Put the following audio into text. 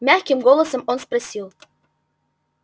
мягким голосом он спросил